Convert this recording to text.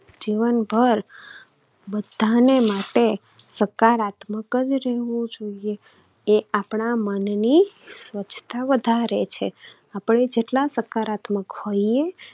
જીવનભર બધાને માટે સકારાત્મક જ રહેવું જોઈએ. એ આપણા મનની સ્વચ્છતા વધારે છે. આપણે જેટલા સકારાત્મક હોઈએ